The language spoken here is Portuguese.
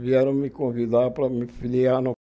vieram me convidar para me filiar no